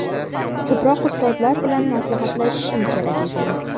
Ko‘proq ustozlar bilan maslahatlashishim kerak ekan.